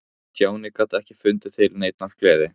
Stjáni gat ekki fundið til neinnar gleði.